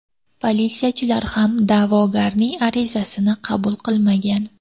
Politsiyachilar ham da’vogarning arizasini qabul qilmagan.